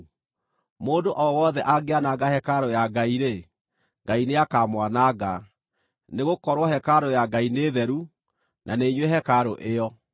Mũndũ o wothe angĩananga hekarũ ya Ngai-rĩ, Ngai nĩakamwananga; nĩgũkorwo hekarũ ya Ngai nĩ theru, na nĩ inyuĩ hekarũ ĩyo.